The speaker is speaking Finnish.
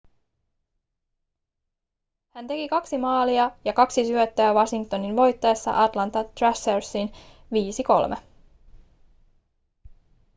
hän teki 2 maalia ja 2 syöttöä washingtonin voittaessa atlanta thrashersin 5-3